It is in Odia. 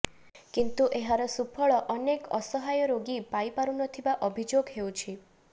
କିନ୍ତୁ ଏହାର ସୁଫଳ ଅନେକ ଅସହାୟ ରୋଗୀ ପାଇପାରୁନଥିବା ଅଭିଯୋଗ ହେଉଛି